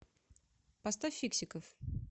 поставь фиксиков